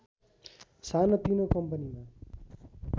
सानोतिनो कम्पनीमा